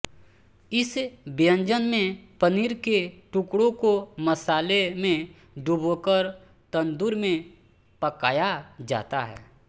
इस व्यंजन में पनीर के टुकड़ों को मसाले में डुबोकर तन्दूर में पकाया जाता है